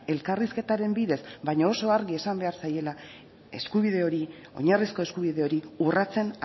elkarrizketaren bidez baina oso argi esan behar zaiela eskubide hori oinarrizko eskubide hori urratzen